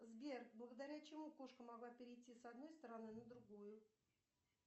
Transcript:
сбер благодаря чему кошка могла перейти с одной стороны на другую